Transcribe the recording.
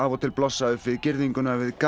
og til blossa upp við girðinguna við